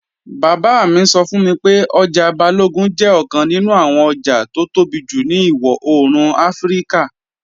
Bàbá mi sọ fún mi pé ọjà Balógun jẹ́ ọ̀kan nínú àwọn ọjà tó tóbi jù ní ìwọ-òòrùn Áfíríkà.